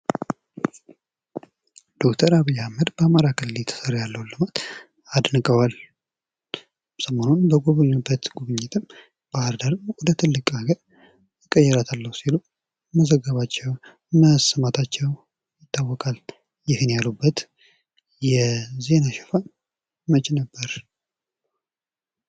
ዶክተር አብይ አህመድ በአማራ ክልል እየተሰራ ያለውን ልማት አድንቀዋል። ሰሞኑን በጐበኙበት ጉብኝትም ባህርዳርን ወደ ትልቅ ሀገር እቀይራታለሁ ሲሉ መዘጋቸው፥ መሰማታቸው ይታወቃል። ይህን ያሉበት የዜና ሽፋን መች ነበር?